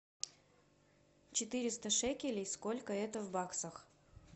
четыреста шекелей сколько это в баксах